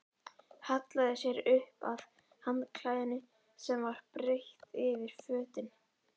Hallaði sér upp að handklæðinu sem var breitt yfir fötin.